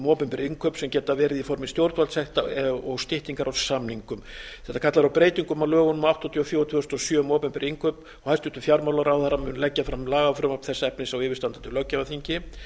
opinber innkaup sem geta verið í formi stjórnvaldssekta og styttingar á samningum þetta kallar á breytingu á lögum númer áttatíu og fjögur tvö þúsund og sjö um opinber innkaup hæstvirtur fjármálaráðherra mun leggja fram lagafrumvarp þess efnis á yfirstandandi löggjafarþingi